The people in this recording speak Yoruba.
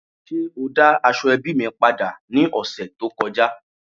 Ṣe o da aseobi mi pada ni ọsẹ to kọja?